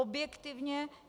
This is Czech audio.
Objektivně.